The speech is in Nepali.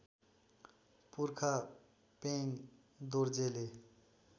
पुर्खा पेङ दोर्जेले